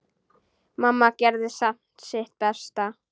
Mamma gerði samt sitt besta.